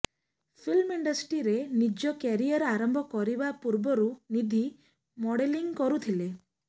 film ଇଣ୍ଡଷ୍ଟ୍ରିରେ ନିଜ career ଆରମ୍ଭ କରିବା ପୂର୍ବରୁ ନିଧି ମଡେଲିଂ କରୁଥିଲେ